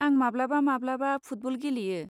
आं माब्लाबा माब्लाबा फुटबल गेलेयो।